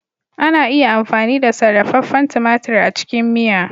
Ana iya amfani da sarrafefen tumatir a cikin miya.